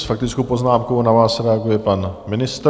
S faktickou poznámkou na vás reaguje pan ministr.